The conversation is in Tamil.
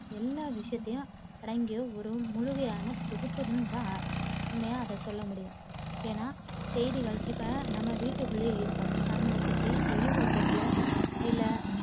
எல்லா விஷயத்தையும் அடங்கிய ஒரு முழுமையான தொகுப்புன்னு தான் உண்மையா அதை சொல்ல முடியும். ஏன்னா செய்திகள், இப்ப நாம வீட்டுக்குள்ளயே இருபோம் நம்மள சுத்தி வெளியுலகத்துல இல்ல